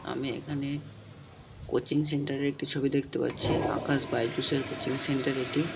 আমি এখানে coaching centre -এর একটি ছবি দেখতে পাচ্ছি আকাশ বাইজুসের কোচিং সেন্টার এটি।